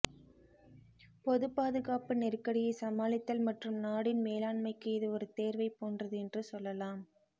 பொதுப் பாதுகாப்பு நெருக்கடியைச் சமாளித்தல் மற்றும் நாடின் மேலாண்மைக்கு இது ஒரு தேர்வைப் போன்றது என்று சொல்லலாம்